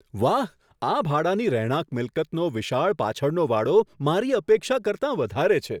વાહ, આ ભાડાની રહેણાંક મિલકતનો વિશાળ પાછળનો વાડો મારી અપેક્ષા કરતાં વધારે છે!